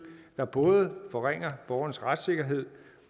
der både forringer borgerens retssikkerhed